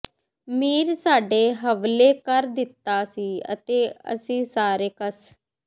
ਮੀਰ ਸਾਡੇ ਹਵਲੇ ਕਰ ਦਿਤਾ ਸੀ ਅਤੇ ਅਸੀਂ ਸਾਰੇ ਕਸ